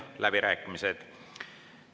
Sulgen läbirääkimised.